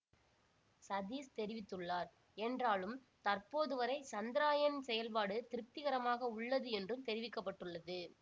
சதீஷ் தெரிவித்துள்ளார் என்றாலும் தற்போது வரை சந்திரயான் செயல்பாடு திருப்திகரமாக உள்ளது என்றும் தெரிவிக்க பட்டுள்ளது